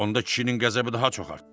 Onda kişinin qəzəbi daha çox artdı.